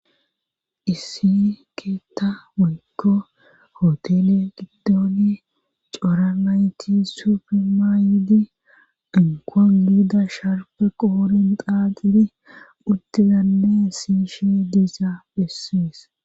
Issi keetta weykko hotele giddooni cora nayti sufema yidi ankuan giida sharfe qoorin qaaqidi uttizanne si shi diisa bessies.